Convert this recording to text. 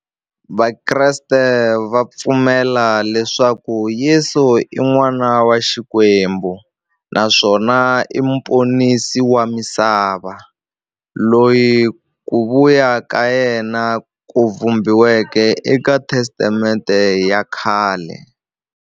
Vakreste va pfumela leswaku Yesu i n'wana wa Xikwembu naswona i muponisi wa misava, loyi ku vuya ka yena ku vhumbiweke eka Testamente ya khale.